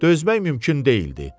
Dözmək mümkün deyildi.